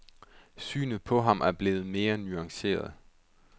Synet på ham er blevet mere nuanceret.